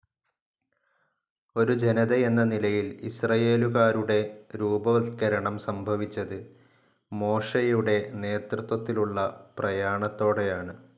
ഒരു ജനതയെന്ന നിലയിൽ ഇസ്രയേലുകാരുടെ രൂപവത്കരണം സംഭവിച്ചത് മോശയുടെ നേതൃത്വത്തിലുള്ള പ്രയാണത്തോടെയാണ്.